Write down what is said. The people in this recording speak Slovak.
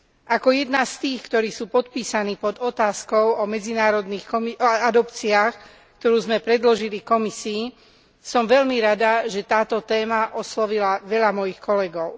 Ako jedna z tých, ktorí sú podpísaní pod otázkou o medzinárodných adopciách, ktorú sme predložili Komisii, som veľmi rada, že táto téma oslovila veľa mojich kolegov.